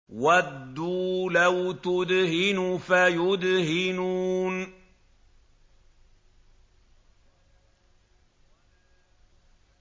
وَدُّوا لَوْ تُدْهِنُ فَيُدْهِنُونَ